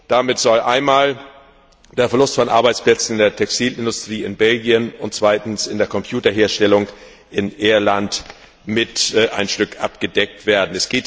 Damit soll einmal der Verlust von Arbeitsplätzen in der Textilindustrie in Belgien und zweitens in der Computerherstellung in Irland ein Stück abgedeckt werden.